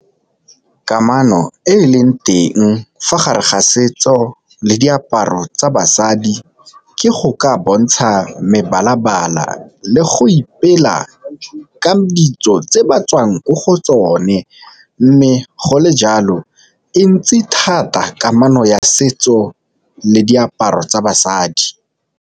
Kamano e e leng teng fa gare ga setso le diaparo tsa basadi ke go ka bontsha mebala-bala le go ipela kang ditso tse ba tswang ko go tsone, mme go le jalo e ntsi thata kamano ya setso le diaparo tsa basadi.